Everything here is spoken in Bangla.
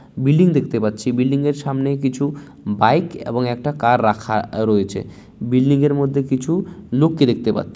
বিল্ডিং দেখতে পাচ্ছি বিল্ডিং এর সামনে কিছু বাইক এবং একটা কার রাখা-আ রয়েছে বিল্ডিং এর মধ্যে কিছু লোককে দেখতে পাচ্ছি।